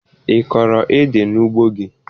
Ị kọrọ édè n'ugbo gị?